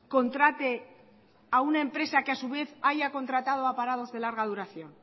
contrate a una empresa que a su vez haya contratado a parados de larga duración